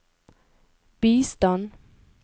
bistand